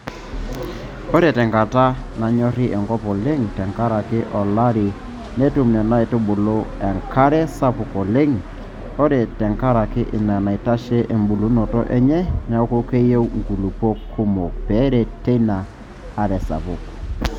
Ore tenkata nanyori enkop oleng tenkaraki olari netum Nena aitubulu enkara sapuk oleng ore tenkaraki ina neitashe embulunoto enye neeku keyieu nkulupuok kumok peeret teina are sapuk.